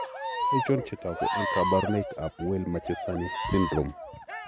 Achon chetogu ak kaborunoik ab Weill Marchesani syndrome?